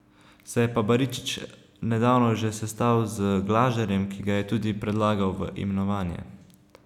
Se je pa Baričič nedavno že sestal z Glažarjem, ki ga je tudi predlagal v imenovanje.